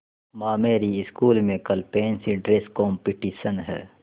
माँ मेरी स्कूल में कल फैंसी ड्रेस कॉम्पिटिशन है